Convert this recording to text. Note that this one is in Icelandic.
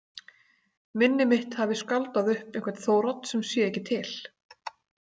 Minni mitt hafi skáldað upp einhvern Þórodd sem sé ekki til.